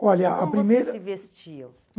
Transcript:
olha a primeira. Como você se vestia?